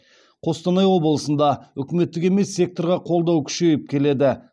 қостанай облысында үкіметтік емес секторға қолдау күшейіп келеді